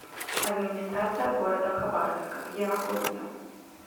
администрация г хабаровска где находится